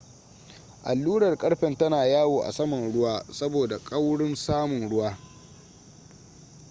allurar ƙarfen tana yawo a saman ruwa saboda kaurin saman ruwa